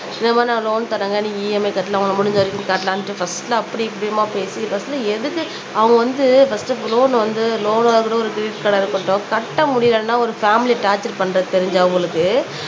இந்த மாதிரி நான் லோன் தர்றேங்க நீ EMI கட்டலாம் உனக்கு முடிஞ்ச வரைக்கும் காட்டலான்னுட்டு பர்ஸ்ட்ல அப்படி இப்படிம்மா பேசி பர்ஸ்ட்ல எதுக்கு அவங்க வந்து பர்ஸ்ட் லோன் வந்து லோன் ஆகட்டும் ஒரு கிரெட்ட்டிட் கார்டா இருக்கட்டும் கட்ட முடியலைன்னா ஒரு பேமிலி டார்ச்சர் பண்றது தெரிஞ்ச அவங்களுக்கு